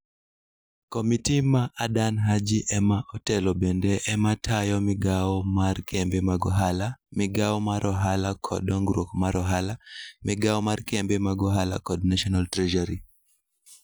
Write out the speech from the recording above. Komiti ma Adan Haji ema otelo bende ema tayo migawo mar kembe mag ohala, migawo mar ohala kod dongruok mar ohala, migawo mar kembe mag ohala kod National Treasury.